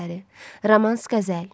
Romans qəzəl.